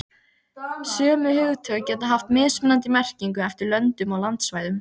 Sömu hugtök geta haft mismunandi merkingu eftir löndum og landsvæðum.